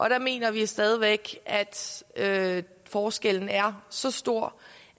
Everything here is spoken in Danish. der mener vi stadig væk at forskellen er så stor